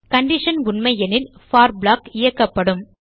condition உண்மையெனில் for block இயக்கப்படும்